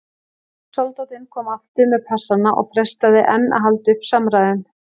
Soldátinn kom aftur með passana og freistaði enn að halda uppi samræðum.